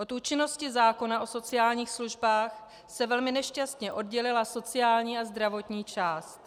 Od účinnosti zákona o sociálních službách se velmi nešťastně oddělila sociální a zdravotní část.